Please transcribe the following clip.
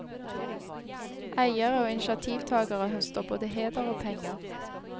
Eiere og initiativtagere høster både heder og penger.